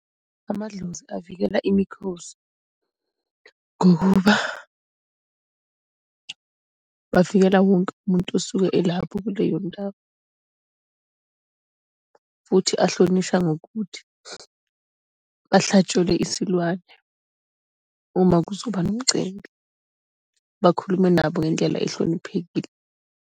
Amadlozi avikela imikhosi ngokuba bavikela wonke umuntu osuke elapho kuleyo ndawo. Futhi ahlonishwa ngokuthi ahlatshelwe isilwane, uma kuzoba nomcimbi. Bakhulume nabo ngendlela ohloniphekile.